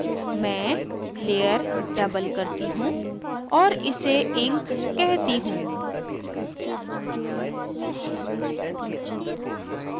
मैं layer double करती हूँ और इसे ink कहती हूँ